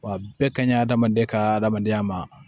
Wa bɛɛ ka ɲi adamaden ka hadamadenya ma